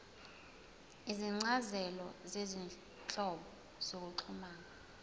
izincazelo zezinhlobo zokuxhumana